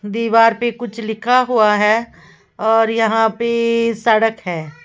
दीवार पे कुछ लिखा हुआ है और यहां पे सड़क है।